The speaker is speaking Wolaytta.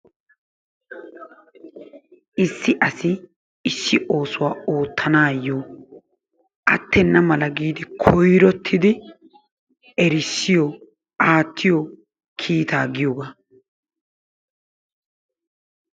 Issi asi issi oosuwaa oottananayoo attena mala giidi koyrrottidi erissiyoo aattiyoo kiittaa giyoogaa.